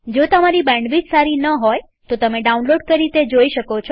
જો તમારી બેન્ડવિડ્થ સારી ન હોય તો તમે ડાઉનલોડ કરી તે જોઈ શકો છો